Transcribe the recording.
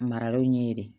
Maralenw ɲɛɲini